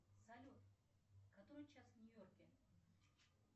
салют который час в нью йорке